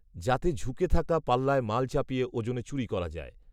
যাতে ঝুঁকে থাকা পাল্লায় মাল চাপিয়ে ওজনে চুরি করা যায়